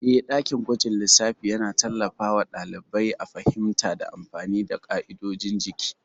Eh, dakin gwajin lissafi yana tallafawa ɗalibai a fahimta da amfani da ƙa'idodin jiki.